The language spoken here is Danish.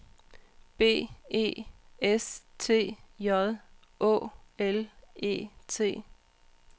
B E S T J Å L E T